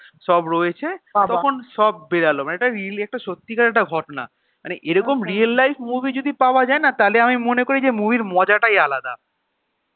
সব রয়েছে তখন সব বেরোল মানে একটা really একটা সত্যিকারের একটা ঘটনা মানে এরকম real life movie যদি পাওয়া যায় না তাহলে আমি মনে করি যে movie এর মজাটাই আলাদা